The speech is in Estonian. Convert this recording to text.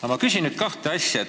Aga ma küsin nüüd kahte asja.